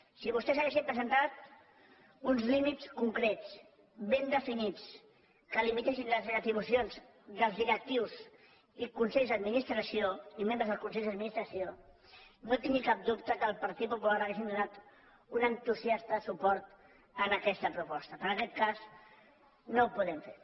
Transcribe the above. si vostès haguessin presentat uns límits concrets ben definits que limitessin les retribucions dels directius i membres dels consells d’administració no tingui cap dubte que el partit popular hauríem donat un entusias·ta suport en aquesta proposta però en aquest cas no ho podem fer